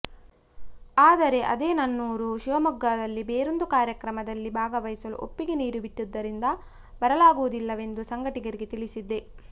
ಆದರೆ ಅಂದೇ ನನ್ನೂರು ಶಿವಮೊಗ್ಗದಲ್ಲಿ ಬೇರೊಂದು ಕಾರ್ಯಕ್ರಮದಲ್ಲಿ ಭಾಗವಹಿಸಲು ಒಪ್ಪಿಗೆ ನೀಡಿಬಿಟ್ಟುದದರಿಂದ ಬರಲಾಗುವುದಿಲ್ಲವೆಂದು ಸಂಘಟಕರಿಗೆ ತಿಳಿಸಿದ್ದೆ